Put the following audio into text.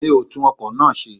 Mi o tún ọkọ̀ náà ṣe.